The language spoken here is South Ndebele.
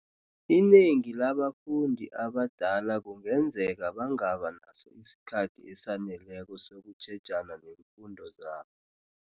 Inengi labafundi abadala kungenzeka bangaba naso isikhathi esaneleko sokutjhejana neemfundo zabo.